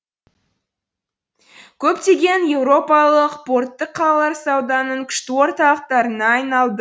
көптеген еуропалық портты қалалар сауданың күшті орталықтарына айналды